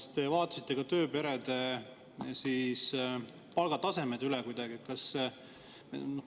Kas te vaatasite ka tööperede palgatasemed üle kuidagi?